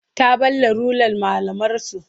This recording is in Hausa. Ta ɓalla rular malamarsu.